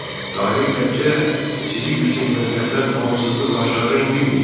Bəli, taley təkcə sizi yüksək mənsəbdən amansızlıqla aşağı endirməyib.